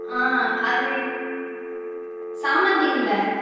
ஆஹ் அது சாமந்தி இல்ல